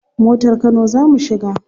Motar kano za mu shiga.